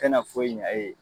tɛna foyi ɲa e ye.